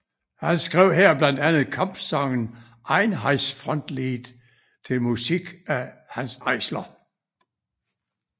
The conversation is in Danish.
Han skrev her blandt andet kampsangen Einheitsfrontlied til musik af Hanns Eisler